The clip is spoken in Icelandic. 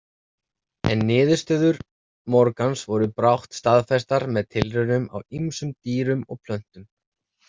En niðurstöður Morgans voru brátt staðfestar með tilraunum á ýmsum dýrum og plöntum.